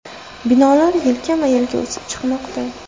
Binolar yelkama-yelka o‘sib chiqmoqda.